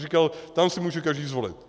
Říkal, tam si může každý zvolit.